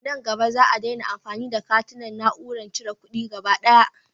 A nan gaba, Za a daina amfani da katuna a na'urorin cire kuɗi gaba daya.